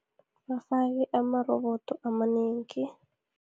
Bafake amarobodo amanengi.